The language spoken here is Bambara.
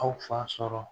Aw fa sɔrɔ